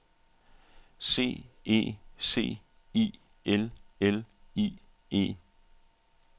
C E C I L L I E